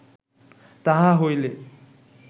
তাহা হইলে